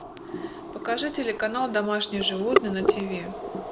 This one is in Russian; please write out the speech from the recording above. покажи телеканал домашние животные на тв